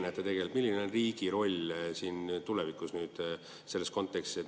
Kuidas teie näete, milline on riigi roll tulevikus nüüd selles kontekstis?